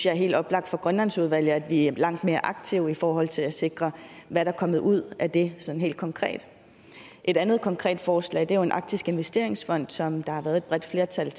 er helt oplagt for grønlandsudvalget at blive langt mere aktiv i forhold til at sikre hvad der kommer ud af det sådan helt konkret et andet konkret forslag er en arktisk investeringsfond som der har været et bredt flertal